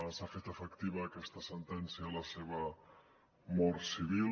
s’ha fet efectiva aquesta sentència de la seva mort civil